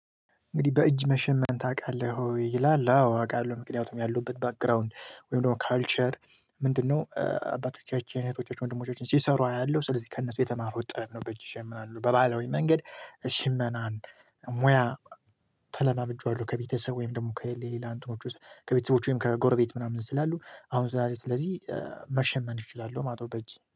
እንግዲህ በእጅ መሸመን ታውቃለህ ይላል አው አውቃለሁ ምክንያቱም ያለውበት ባክግራውንድ ወይም ደግሞ ካልቸር ምንድነው? አባቶቻችን እህቶቻችን ወንድሞቻችን ሲሰሩ አያለሁ ስለዚህ ከእነሱ የተማሩ ጥበብ ነው። በእጅ ይጀምራሉ በባለወይ መንገድ ሽመናን ሙያ ተለማምጄዋለሁ። ከቤተሰብ ወይም ደግሞ ከሌላ አንተኖች ውስጥ ከቤተሰቦቹ ወይም ከጎረቤት ምናምን ስላሉ አሁን ስላለ ስለዚህ መሸመን እችላለሁ። ማጦ በእጅ